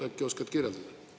Äkki oskad kirjeldada?